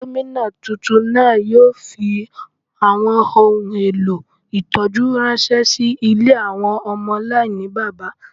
Gomina túntún náà yóò fí awọn ohún èlò ìtọjú ránṣẹ sí ilé awọn ọmọ aláìníbábá.